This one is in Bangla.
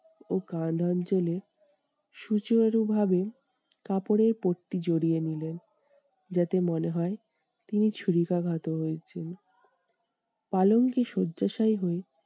ও কাঁধ অঞ্চলে সুচারু ভাবে কাপড়ের পট্টি জড়িয়ে নিলো। যাতে মনে হয় তিনি ছুরিকাঘাত হয়েছেন। পালঙ্কে শয্যাশায়ী হয়ে